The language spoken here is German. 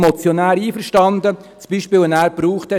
Ich bin mit dem erwähnten Beispiel des Motionärs einverstanden: